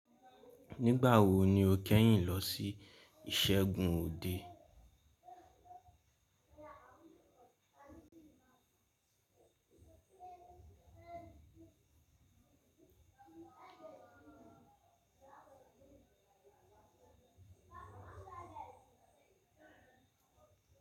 Nígbà wo ni o kẹ́yìn lọ sí ìṣẹ́gun òde?